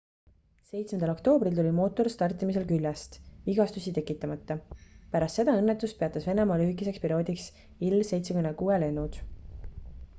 7 oktoobril tuli mootor startimisel küljest vigastusi tekitamata pärast seda õnnetust peatas venemaa lühikeseks perioodiks il-76 lennud